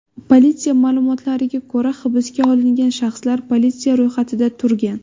Politsiya ma’lumotlariga ko‘ra, hibsga olingan shaxs politsiya ro‘yxatida turgan.